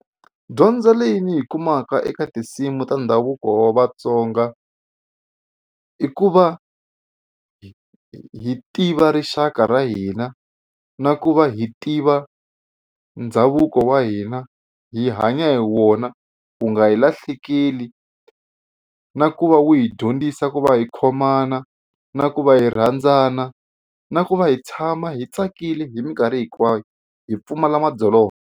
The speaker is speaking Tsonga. Dyondzo leyi ni yi kumaka eka tinsimu ta ndhavuko wa Vatsonga i ku va hi tiva rixaka ra hina na ku va hi tiva ndhavuko wa hina hi hanya hi wona wu nga hi lahlekeli na ku va wu hi dyondzisa ku va hi khomana na ku va hi rhandzana na ku va hi tshama hi tsakile hi mikarhi hinkwayo hi pfumala madzolonga.